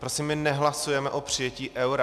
Prosím, my nehlasujeme o přijetí eura.